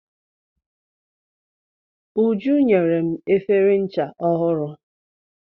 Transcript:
Uju nyere m efere ncha ọhụrụ.